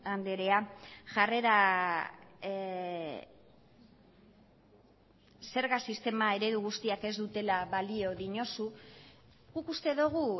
andrea jarrera zerga sistema eredu guztiak ez dutela balio diozu guk uste dugu